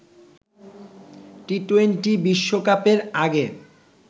T twenty বিশ্বকাপের আগে